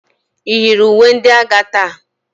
Iyiro uwe ndi agha taa?